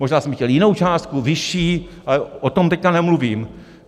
Možná jsme chtěli jinou částku, vyšší, ale o tom teď nemluvím.